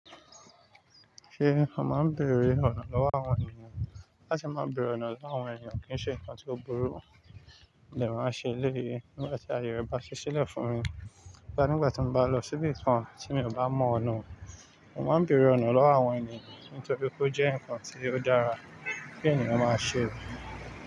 Ṣé o máa ń bèrè ọ̀nà lọ́wọ́ àwọn ènìyàn? Láti máa bèrè ọ̀nà lọ́wọ́ àwọn ènìyàn kì ń ṣe nǹkan tó burú, mo dẹ̀ máa ń ṣe eléyìí nígbà tí àye rẹ̀ bá ṣí sílẹ̀ fún mi. Rárá, nígbà tí mo bá lọ sí ibìkan tí mi ò bá mọ̀ ọ̀nà, mo máa ń bèrè ọ̀nà lọ́wọ́ àwọn ènìyàn nítorí pé ó jẹ́ nǹkan tí ó dára tí ènìyàn máa ṣe.